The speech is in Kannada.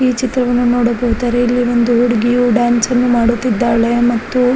ಈ ಚಿತ್ರವನ್ನು ನೋಡಬಹುದಾರೆ ಇಲ್ಲಿ ಒಂದು ಹುಡುಗಿಯು ಡ್ಯಾನ್ಸನ್ನು ಮಾಡುತ್ತಿದ್ದಾಳೆ ಮತ್ತು --